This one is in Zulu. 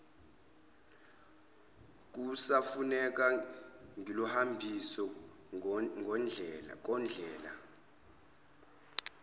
kusafuneka ngikuhambise kondlela